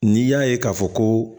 N'i y'a ye k'a fɔ ko